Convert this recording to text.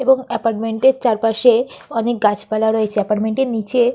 এবং এপার্টমেন্ট এর চারপাশে অনেক গাছপালা রয়েছে এপার্টমেন্ট এর নিচে--